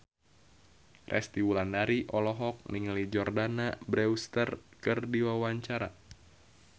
Resty Wulandari olohok ningali Jordana Brewster keur diwawancara